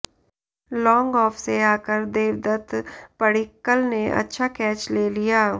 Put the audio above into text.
long off से आकर देवदत्त पडिक्कल ने अच्छा कैच ले लिया